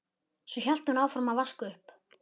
Svo hélt hún áfram að vaska upp.